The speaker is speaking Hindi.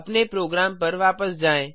अपने प्रोग्राम पर वापस आएँ